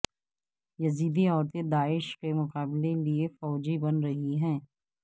یزیدی عورتیں داعش کے مقابلے لیے فوجی بن رہی ہیں